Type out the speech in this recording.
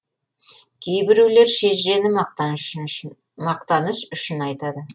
кейбіреулер шежірені мақтаныш үшін айтады